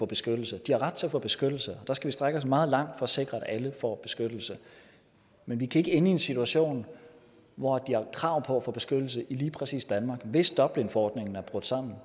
beskyttelse de har ret til at få beskyttelse der skal vi strække os meget langt for at sikre at alle får beskyttelse men vi kan ikke ende i en situation hvor de har krav på at få beskyttelse i lige præcis danmark hvis dublinforordningen er brudt sammen